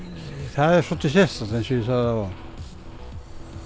það er svolítið sérstakt eins og ég sagði áðan